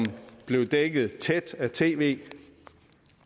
blev dækket tæt af tv